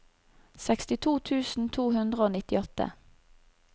sekstito tusen to hundre og nittiåtte